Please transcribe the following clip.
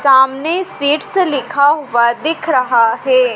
सामने स्वीट्स लिखा हुआ दिख रहा है।